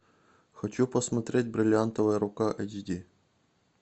хочу посмотреть бриллиантовая рука эйч ди